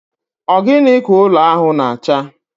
Ogini ka ụlọ ahụ na acha?